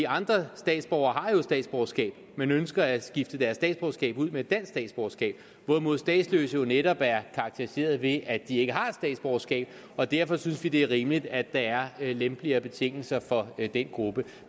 andre statsborgere har jo statsborgerskab men ønsker at skifte deres statsborgerskab ud med et dansk statsborgerskab hvorimod statsløse netop er karakteriseret ved at de ikke har et statsborgerskab og derfor synes vi det er rimeligt at der er lempeligere betingelser for den gruppe